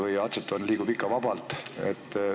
Kas atsetoon liigub ikka turul vabalt ringi?